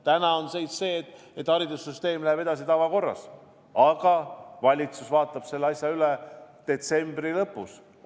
Täna on see, et haridussüsteem läheb edasi tavakorras, aga valitsus vaatab selle asja üle detsembri lõpus.